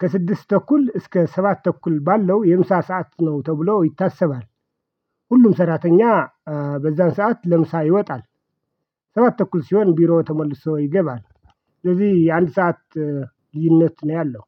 ከስድስት ተኩል እስከ ሰባት ተኩል ባለው የምሳ ሰዓት ነው ተብሎ ይታሰባል። ሁሉም ሰራተኛ በዛን ሰዓት ለምሳ ይወጣል። ሰባት ተኩል ሲሆን ቢሮ ተመልሶ ይገባል። ስለዚህ የአንድ ሰዓት ልዩነት ነው ያለው።